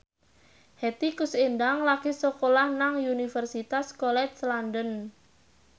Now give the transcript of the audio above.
Hetty Koes Endang lagi sekolah nang Universitas College London